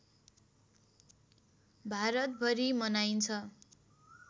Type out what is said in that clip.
भारतभरि मनाइन्छ